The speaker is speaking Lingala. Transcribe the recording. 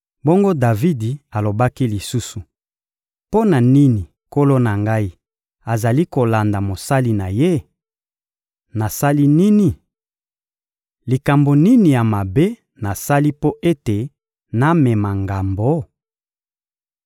Bongo Davidi alobaki lisusu: — Mpo na nini nkolo na ngai azali kolanda mosali na ye? Nasali nini? Likambo nini ya mabe nasali mpo ete namema ngambo?